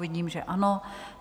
Vidím, že ano.